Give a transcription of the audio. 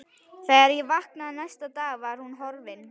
Þegar ég vaknaði næsta dag var hún horfin.